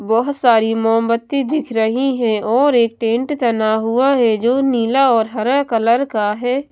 बहोत सारी मोमबत्ती दिख रही हैं और एक टेंट तना हुआ हैं जो नीला और हरा कलर का है।